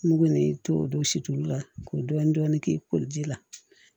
Nugu n'i to don siw la k'o dɔɔni k'i koli ji la